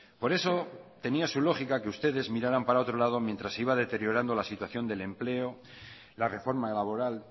por eso tenía su lógica que ustedes miraran para otro lado mientras iba deteriorando la situación del empleo la reforma laboral